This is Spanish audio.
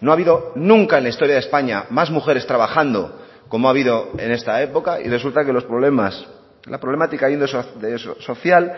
no ha habido nunca en la historia de españa más mujeres trabajando como ha habido en esta época y resulta que los problemas la problemática social